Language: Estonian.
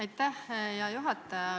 Aitäh, hea juhataja!